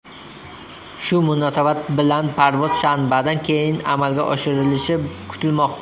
Shu munosabat bilan parvoz shanbadan keyin amalga oshirilishi kutilmoqda.